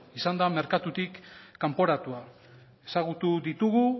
izan da merkatutik kanporatua ezagutu ditugu